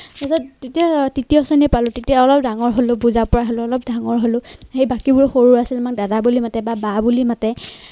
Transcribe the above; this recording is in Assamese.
তাৰ পিছত তেতিয়া তৃতীয় শ্ৰেণী পালো। তেতিয়া অলপ ডাঙৰ হলো বুজা পৰা হলো অলপ ডাঙৰ হলো সেই বাকীবোৰ সৰু আছিল আমাক দাদা বুলি মাতে বা বা বুলি মাতে